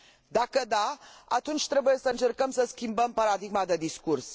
Dacă da, atunci trebuie să încercăm să schimbăm paradigma de discurs.